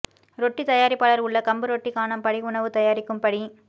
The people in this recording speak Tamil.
ரொட்டி தயாரிப்பாளர் உள்ள கம்பு ரொட்டி க்கான படி உணவு தயாரிக்கும் படி